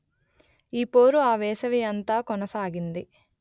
ఈ పోరు ఆ వేసవి అంతా కొనసాగింది